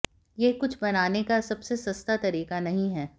यह कुछ बनाने का सबसे सस्ता तरीका नहीं है